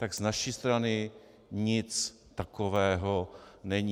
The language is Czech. Tak z naší strany nic takového není.